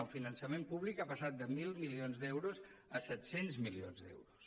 el finançament públic ha passat de mil milions d’euros a set cents milions d’euros